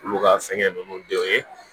Olu ka fɛngɛ ninnu bɛɛ ye